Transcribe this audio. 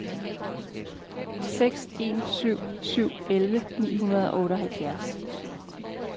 seks en syv syv elleve ni hundrede og otteoghalvfjerds